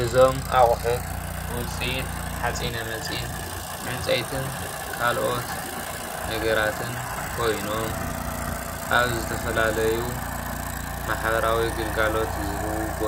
እዚ ምስሊ ካብ ጣውላ ሓፂንን ዝተሰርሑ ኮይኖም ን ቢሮ